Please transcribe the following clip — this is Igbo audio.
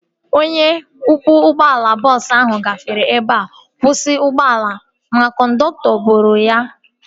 Onye ọkwọ ụgbọala bọọsu ahu gafere ebe nkwụsị ụgbọala m ma kọndọktọ boro m ya